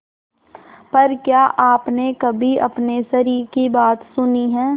पर क्या आपने कभी अपने शरीर की बात सुनी है